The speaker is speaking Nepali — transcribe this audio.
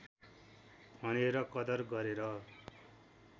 भनेर कदर गरेर